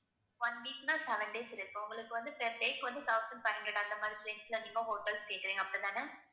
one week னா seven days இருக்கு உங்களுக்கு வந்து per day க்கு வந்து thousand five hundred அந்தமாதிரி நீங்க hotels கேட்கிறீங்க அப்படித்தானே?